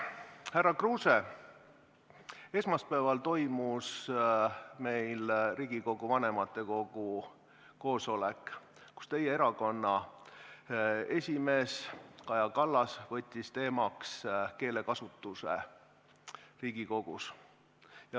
Härra Kruuse, esmaspäeval toimus Riigikogu vanematekogu koosolek, kus teie erakonna esimees Kaja Kallas võttis teemaks keelekasutuse Riigikogus.